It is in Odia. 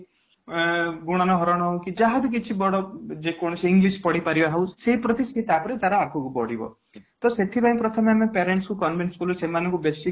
ଆଁ ଗୁଣନ ହରଣ ହେଉ କି ଯାହା ବି କିଛି ବି ବଡ ଯେ କୌଣସି english ପଢ଼ିପାରିବ ହଉ ସେଇ ପ୍ରତି ସେ ତାର ଆଗକୁ ବଢିବ ସେ ତାପରେ ତାର ଆଗକୁ ବଢିବ ସେଥିପାଇଁ ଆମେ ପ୍ରଥମେ parents ଙ୍କୁ convince କଲୁ ସେମାନଙ୍କୁ